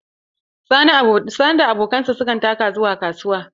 Sani da abokansa su ka taka zuwa kasuwa.